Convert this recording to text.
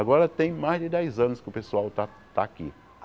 Agora tem mais de dez anos que o pessoal está está aqui.